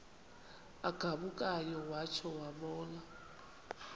agabukayo watsho wabona